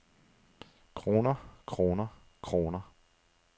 kroner kroner kroner